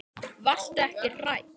Varstu ekki hrædd?